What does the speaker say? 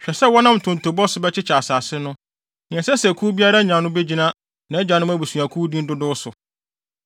Hwɛ sɛ wɔnam ntontobɔ so bɛkyekyɛ asase no. Nea ɛsɛ sɛ kuw biara nya no begyina nʼagyanom abusuakuw din dodow so.